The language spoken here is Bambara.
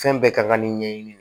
Fɛn bɛɛ kan ka nin ɲɛɲini